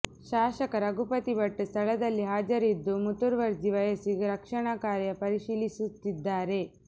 ಶಾಸಕ ರಘುಪತಿ ಭಟ್ ಸ್ಥಳದಲ್ಲಿ ಹಾಜರಿದ್ದು ಮುತುವರ್ಜಿ ವಹಿಸಿ ರಕ್ಷಣಾ ಕಾರ್ಯ ಪರಿಶೀಲಿಸುತ್ತಿದ್ದಾರೆ